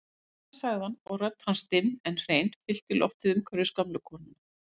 Síðan sagði hann og rödd hans dimm en hrein fyllti loftið umhverfis gömlu konuna